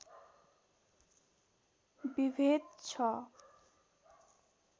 विभेद छ